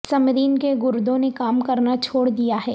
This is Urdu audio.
سمرین کے گردوں نے کام کرنا چھوڑ دیا ہے